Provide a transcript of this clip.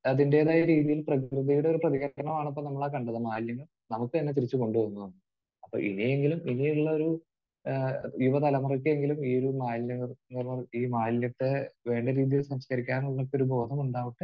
അതിന്റേതായ രീതിയിൽ പ്രകൃതിയുടെ ഒരു പ്രതികാരമാണ് അപ്പോൾ നമ്മൾ ആ കണ്ടത്. മാലിന്യം നമുക്ക് തന്നെ തിരിച്ച് കൊണ്ട് വന്നു തന്നു. അപ്പോൾ ഇനിയെങ്കിലും...ഇനിയെങ്കിലുമൊരു ഏഹ് യുവതലമുറയ്‌ക്കെങ്കിലും ഈ ഒരു മാലിന്യ നിർ...ഈ മാലിന്യത്തെ വേണ്ട രീതിയിൽ സംസ്കരിക്കാനുള്ള ഒരു മോഹമുണ്ടാവട്ടെ